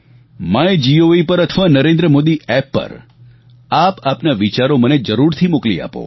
my gov પર અથવા Narendra Modi app પર આપ આપના વિચારો મને જરૂરથી મોકલી આપો